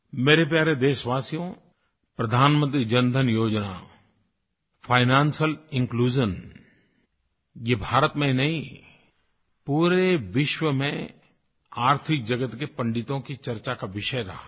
मेरे प्यारे देशवासियो प्रधानमंत्री जनधन योजना फाइनेंशियल इन्क्लूजन ये भारत में ही नहीं पूरे विश्व में आर्थिक जगत के पंडितों की चर्चा का विषय रहा है